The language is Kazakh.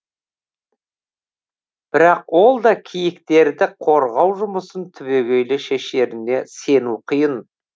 бірақ ол да киіктерді қорғау жұмысын түбегейлі шешеріне сену қиын